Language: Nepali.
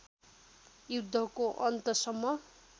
युद्धको अन्तसम्म